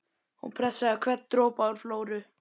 Hún pressaði hvern dropa úr Flóru